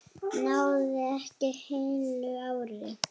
Náði ekki heilu ári.